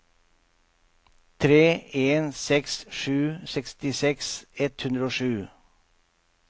tre en seks sju sekstiseks ett hundre og sju